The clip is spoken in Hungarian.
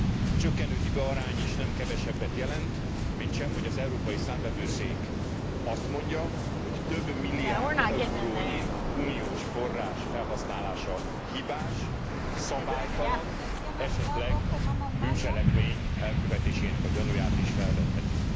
A csökkenő hibaarány is nem kevesebbet jelent, mintsem hogy az Európai Számvevőszék azt mondja, hogy több milliárd eurónyi uniós forrás felhasználása hibás, szabálytalan, esetleg bűncselekmény elkövetésének a gyanúját is felvetheti.